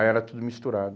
Aí era tudo misturado.